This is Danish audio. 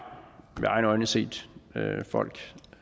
med egne øjne set folk